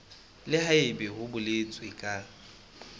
le haebe ho boletswe ka